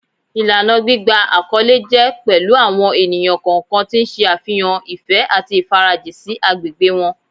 Ìlànà gbígba àkọlé jẹ́ pẹ̀lú àwọn ènìyàn kọ̀ọ̀kan tí ń ṣe àfihàn ìfẹ́ àti ìfarajìn sí agbègbè wọn